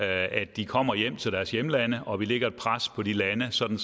at de kommer hjem til deres hjemlande og at vi lægger et pres på de lande sådan